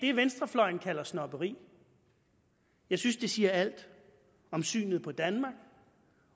det venstrefløjen kalder snobberi jeg synes det siger alt om synet på danmark